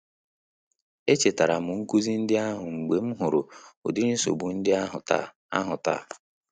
Echetara m nkuzi ndị ahụ mgbe m hụrụ ụdịrị nsogbu ndị ahụ taa ahụ taa